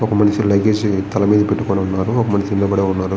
ఒక ఆ మనిషి లగేజ్ తల మీద పెట్టుకుని ఉన్నాడు ఒక మనిషి నిలబడి ఉన్నాడు